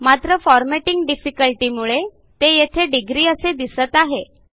मात्र formatting difficulty मुळे ते येथे डिग्री असे दिसत आहे